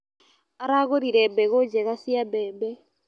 Aragũrire mbegũ njega cia mbembe.